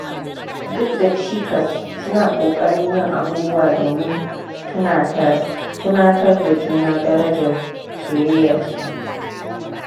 Duk da cikas, suna ƙoƙarin yin abubuwa domin tunatar da juna darajar soyayyarsu.